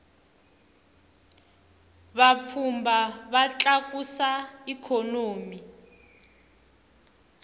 vapfhumba va tlakusa ikhonomi